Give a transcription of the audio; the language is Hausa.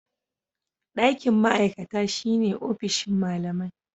Ɗakin ma'aikata shine ofishin malamai.